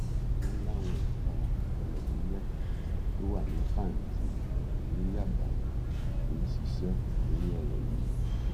wọn láwọn ẹka ọtẹlẹmúyẹ tó wà ní pàǹtí ni yábà ti ń ṣiṣẹ lórí ọrọ yìí